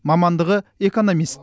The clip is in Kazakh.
мамандығы экономист